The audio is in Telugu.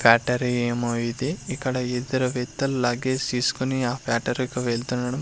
ఫ్యాక్టరీ ఏమో ఇది ఇక్కడ ఈ ఇద్దరు వ్యక్తులు లగేజ్ తీస్కొని ఆ ఫ్యాక్టరీకి వెళుతుండడం--